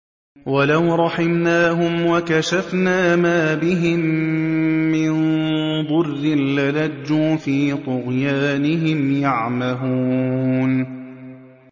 ۞ وَلَوْ رَحِمْنَاهُمْ وَكَشَفْنَا مَا بِهِم مِّن ضُرٍّ لَّلَجُّوا فِي طُغْيَانِهِمْ يَعْمَهُونَ